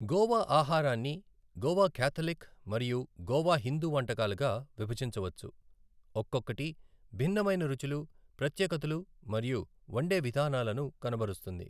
గోవా ఆహారాన్ని గోవా కాథలిక్ మరియు గోవా హిందూ వంటకాలుగా విభజించవచ్చు, ఒక్కొక్కటి భిన్నమైన రుచులు, ప్రత్యేకతలు మరియు వండే విధానాలను కనబరుస్తుంది.